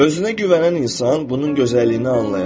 Özünə güvənən insan bunun gözəlliyini anlayar.